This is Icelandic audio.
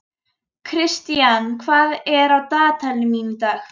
Kristian, hvað er á dagatalinu mínu í dag?